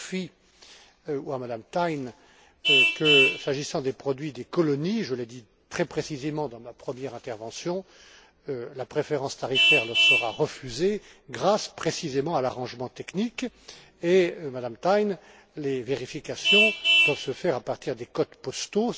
Murphy ou à Mme Thein que, s'agissant des produits des colonies je l'ai dit très précisément dans ma première intervention la préférence tarifaire leur sera refusée grâce, précisément, à l'arrangement technique et, Madame Thein, les vérifications doivent se faire à partir des codes postaux.